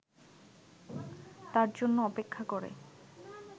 তার জন্য অপেক্ষা করে